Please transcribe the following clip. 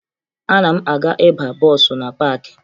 Ana m aga ịba bọọsụ na paakị